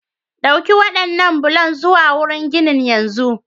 Ɗauki waɗannan bulan zuwa wurin ginin yanzu!